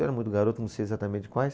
Eu era muito garoto, não sei exatamente quais.